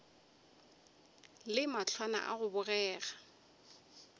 le mahlwana a go bogega